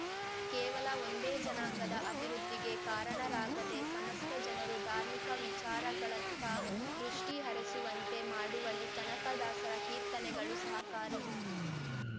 ಕೇವಲ ಒಂದೇ ಜನಾಂಗದ ಅಭಿವೃದ್ಧಿಗೆ ಕಾರಣರಾಗದೆ ಸಮಸ್ತ ಜನರು ಧಾರ್ಮಿಕ ವಿಚಾರಗಳತ್ತ ದೃಷ್ಟಿಹರಿಸುವಂತೆ ಮಾಡುವಲ್ಲಿ ಕನಕದಾಸರ ಕೀರ್ತನೆಗಳು ಸಹಕಾರಿ